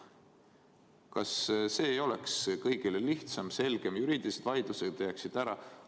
Kas see ei oleks kõigile lihtsam, selgem, juriidilised vaidlused jääksid ära?